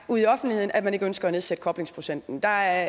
ude i offentligheden at man ikke ønsker at nedsætte koblingsprocenten der er